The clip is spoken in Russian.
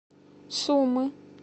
сумы